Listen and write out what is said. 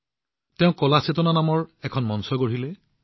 তেওঁ কালা চেতনা নামেৰে এখন মঞ্চ সৃষ্টি কৰিছিল